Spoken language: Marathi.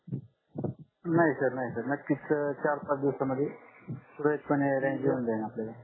नाही सर नाही सर नक्कीच चार पाच दिवस मध्ये सुरडीत पणे येऊन रेंज जाईल आपल्याला